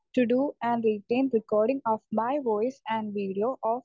speaker 1 to to and retain recording of my voice and video of